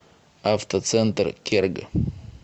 автоцентр керг